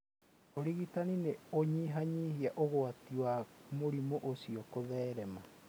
Ũrigitani nĩ ũnyihanyihia ũgwati wa mũrimũ ũcio kũtherema.